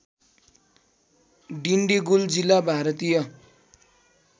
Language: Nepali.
डिन्डिगुल जिल्ला भारतीय